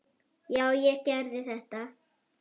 Já, ég gerði þetta!